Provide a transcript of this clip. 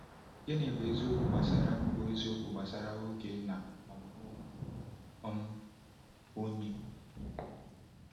Gịnị bụ eziokwu gbasara bụ eziokwu gbasara oge na ọmụmụ onwe um onye?